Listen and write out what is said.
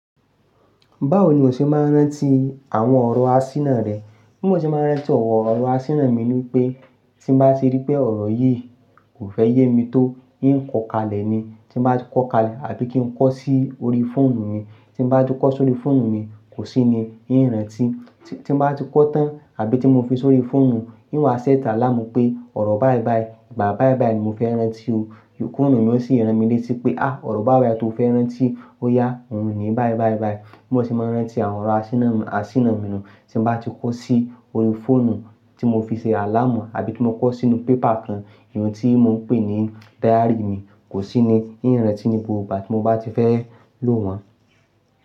Báwo ni o ṣe máa ń rántí àwọn ọ̀rọ̀ asínà rẹ? Bí mo ṣe máa ń rántí ọ̀rọ̀ asínà mi ni pé tí bá ṣe rí pé ọ̀rọ̀ yìí kò fẹ́ yé mi tó, í ń kọ́ kalẹ̀ ni. Tí n bá ti kọ́ kalẹ̀ àbí kí n kọ́ sí orí fóònù mi, tí n bá ti kọ́ sórí fóònù mi, kò sí ni yí ń rántí. Tí n bá ti kọ́ tán àbí tí mo fi sọrí fóònù, i ń wá sẹ́t àlàmú pé ọ̀rọ̀ báì báì, ìgbà báì báì ni mo fẹ́ rántí o. Fóònù mi ó sì rántí mi létí pé, "à, ọ̀rọ̀ báì báì tó o fẹ́ rántí, ó ya, òun ni báì báì báì." Bí mo ṣe máa ń rántí àwọn ọ̀rọ̀ asínà mi nu tí n bá ti kọ sí orí fóònù tí mo fi ṣe àlàmú àbí tí mo kọ sínú pépà kan, ìyẹn tí mo ń pè ní diary mi, kò sí ni ń rántí ní gbogbo ìgbà tí mo bá ti fẹ́ lò wọ́n.